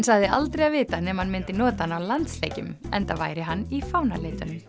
sagði aldrei að vita nema hann myndi nota hann á landsleikjum enda væri hann í fánalitunum